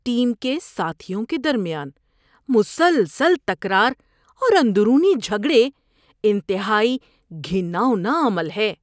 Team کے ساتھیوں کے درمیان مسلسل تکرار اور اندرونی جھگڑے انتہائی گھناؤنا عمل ہے۔